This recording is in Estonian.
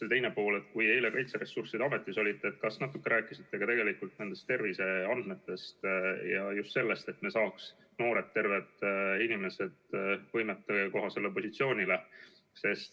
Ja teine pool: kui te eile Kaitseressursside Ametis olite, kas te natuke rääkisite ka terviseandmetest ja just sellest, et me saaks noored terved inimesed võimetekohasele positsioonile?